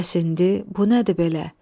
Bəs indi bu nədir belə?